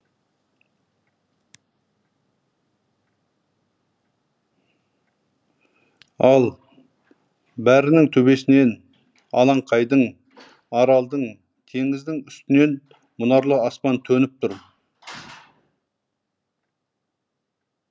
ал бәрінің төбесінен алаңқайдың аралдың теңіздің үстінен мұнарлы аспан төніп тұр